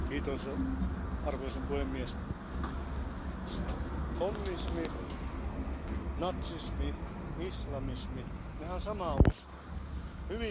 Arvoisa puhemies, kommunismi, natsismi, islamismi, nehän ovat samaa uskontoa, hyvin verisiä.